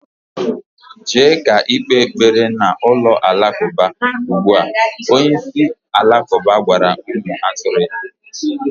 Jee ka ikpe ekpere na ulo-Alakauba ugbua, Onye isi Alakuba gwara umu aturu ya.